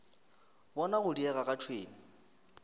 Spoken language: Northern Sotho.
bona go diega ga tšhwene